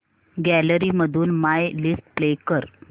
gallery मधून my list play कर